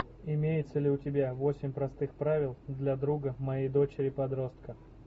имеется ли у тебя восемь простых правил для друга моей дочери подростка